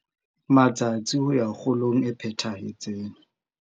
Matsatsi ho ya kgolong e phethahetseng